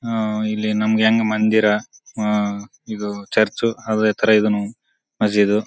ಆ ಇಲ್ಲಿ ನಮಗೆ ಹೆಂಗ್ ಮಂದಿರ ಆ ಇದು ಚರ್ಚ್ ಅವೇ ತರ ಇದೂನು ಮಜೀದ್.